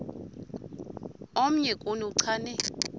omnye kuni uchane